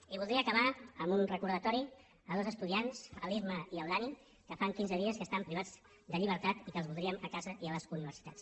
i voldria acabar amb un recordatori a dos estudiants l’isma i el dani que fa quinze dies que estan privats de llibertat i que els voldríem a casa i a les universitats